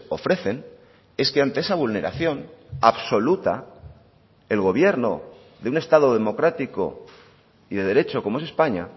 ofrecen es que ante esa vulneración absoluta el gobierno de un estado democrático y de derecho como es españa